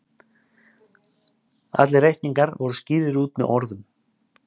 allir reikningar voru skýrðir út með orðum